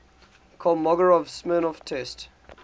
kolmogorov smirnov test